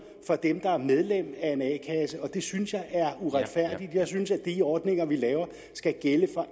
for dem der er medlem af en a kasse og det synes jeg er uretfærdigt jeg synes at de ordninger vi laver skal gælde for